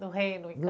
Do reino